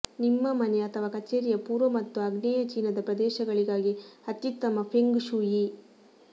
ನಿಮ್ಮ ಮನೆ ಅಥವಾ ಕಚೇರಿಯ ಪೂರ್ವ ಮತ್ತು ಆಗ್ನೇಯ ಚೀನಾದ ಪ್ರದೇಶಗಳಿಗಾಗಿ ಅತ್ಯುತ್ತಮ ಫೆಂಗ್ ಶೂಯಿ